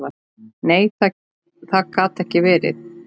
Nei, það gat ekki verið.